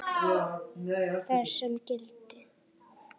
þar sem gildir